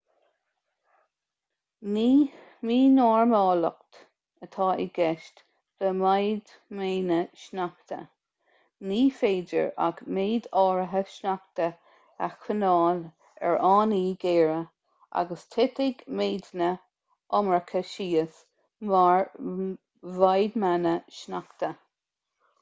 ní mínormáltacht atá i gceist le maidhmeanna sneachta ní féidir ach méid áirithe sneachta a choinneáil ar fhánaí géara agus titfidh méideanna iomarcacha síos mar mhaidhmeanna sneachta